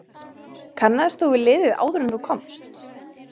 Kannaðist þú við liðið áður en þú komst?